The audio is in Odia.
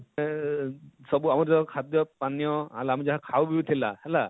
ସେ ସବୁ ଆମର ଯାହା ଖାଦ୍ୟ ପାନୀୟ ଆଉ ଆମେ ଯାହା ଖାଉ ବି ଥିଲା ହେଲା,